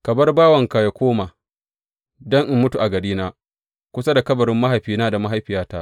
Ka bar bawanka yă koma, don in mutu a garina, kusa da kabarin mahaifina da mahaifiyata.